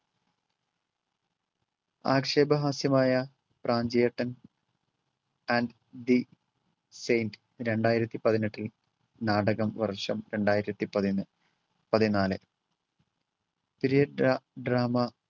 ആക്ഷേപ ഹാസ്യമായ Pranchiyettan and the saint രണ്ടായിരത്തി പതിനെട്ടിൽ നാടകം വർഷം രണ്ടായിരത്തി പതി~ പതിനാല്. dra~ drama